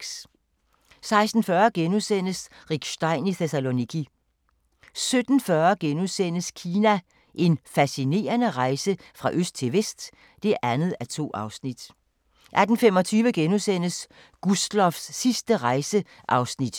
16:40: Rick Stein i Thessaloniki * 17:40: Kina – En fascinerende rejse fra øst til vest (2:2)* 18:25: Gustloffs sidste rejse (Afs. 2)* 19:55: